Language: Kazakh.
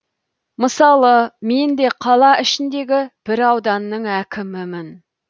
мысалы мен де қала ішіндегі бір ауданның әкімімін